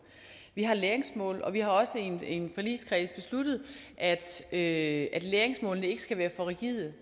vi har læringsmål og vi har også i en en forligskreds besluttet at at læringsmålene ikke skal være for rigide